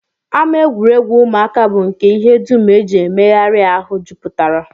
Ama egwuregwu ụmụaka bụ nke ihe dum e ji emegharị ahụ jupụtara